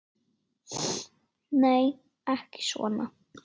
Nei, ekki svona.